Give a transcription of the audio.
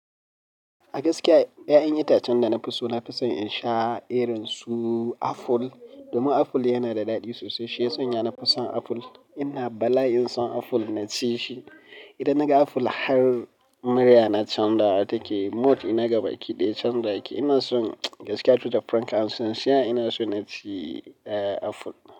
A gaskiya ƴaƴan itacen danafi so nafi son insha irin su apple domin aful yana da daɗi sosai. Shiya sanya nafi son apple ina bala'in san apple na cishi idan naga apple har murya na canjawa take, mood ɗina gabaki ɗaya canjawa yake, inason gaskiya to be frank and sincere ina son naci apple.